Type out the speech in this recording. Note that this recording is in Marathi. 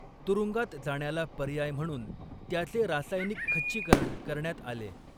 तुरुंगात जाण्याला पर्याय म्हणून त्याचे रासायनिक खच्चीकरण करण्यात आले.